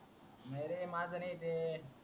नाहीरे माजा नई ते